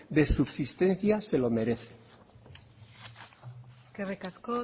de subsistencia se lo merecen eskerrik asko